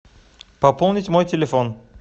пополнить мой телефон